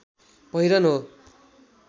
पहिरन हो